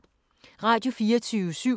Radio24syv